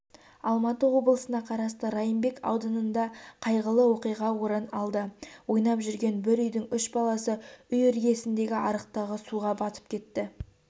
алматы облысына қарасты райымбек ауданында қайғылы оқиға орын алды ойнап жүрген бір үйдің үш баласы үй іргесіндегі арықтағы суға батып кетті